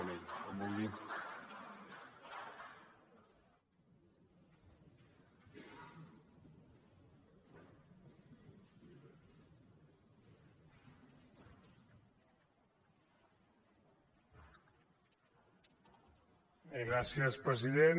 bé gràcies president